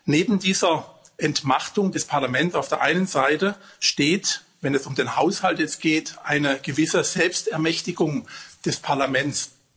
Neben dieser Entmachtung des Parlaments auf der einen Seite steht, wenn es um den Haushalt jetzt geht, eine gewisse Selbstermächtigung des Parlaments.